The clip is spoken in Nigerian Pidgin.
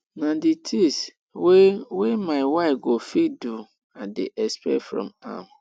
na di tins wey wey my wife go fit do i dey expect from am